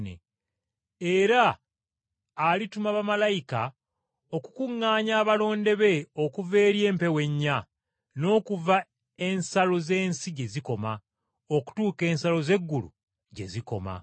Era alituma bamalayika okukuŋŋaanya abalonde be okuva eri empewo ennya, n’okuva ensalo z’ensi gye zikoma okutuuka ensalo z’eggulu gye zikoma.”